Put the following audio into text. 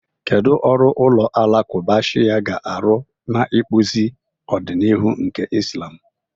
Kedu ọrụ ụlọ alakụba Shia ga-arụ n'ịkpụzi ọdịnihu nke Islam?